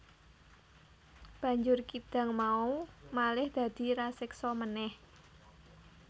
Banjur kidang mau malih dadi raseksa meneh